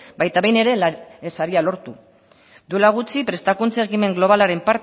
baita behin ere saria lortu duela gutxi prestakuntza ekimen globalaren